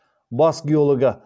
бас геологы